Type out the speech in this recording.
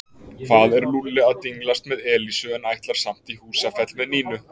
Hvað er Lúlli að dinglast með Elísu en ætlar samt í Húsafell með Nínu?